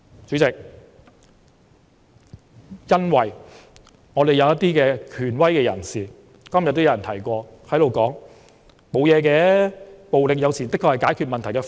主席，正如今天也有人提到，因為有權威人士說："沒甚麼，暴力有時的確是解決問題的方法。